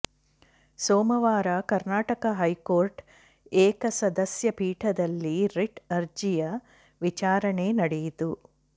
ಸೋಮವಾರ ಕರ್ನಾಟಕ ಹೈಕೋರ್ಟ್ ಏಕಸದಸ್ಯ ಪೀಠದಲ್ಲಿ ರಿಟ್ ಅರ್ಜಿಯ ವಿಚಾರಣೆ ನಡೆಯಿತು